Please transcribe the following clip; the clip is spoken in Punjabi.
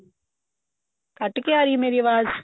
ਕੱਟ ਕੇ ਆਰੀ ਮੇਰੀ ਅਵਾਜ਼